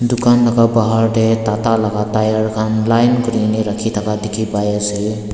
dukan laga bahar teh tata laga tyre khan line kuri ne rakhi thaka dikhi pai ase.